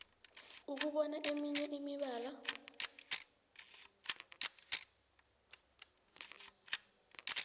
ukubona eminye imibala